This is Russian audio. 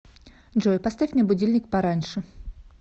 джой поставь мне будильник пораньше